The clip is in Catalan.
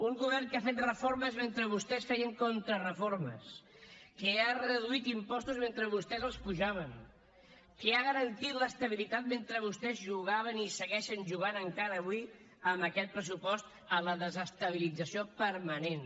un govern que ha fet reformes mentre vostès feien contrareformes que ha reduït impostos mentre vostès els apujaven que ha garantit l’estabilitat mentre vostès jugaven i segueixen jugant encara avui amb aquest pressupost a la desestabilització permanent